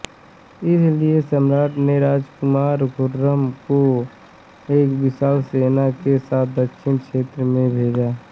इसीलिए सम्राट् ने राजकुमार खुर्रम को एक विशाल सेना के साथ दक्षिण क्षेत्र में भेजा